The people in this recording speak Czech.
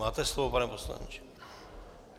Máte slovo, pane poslanče.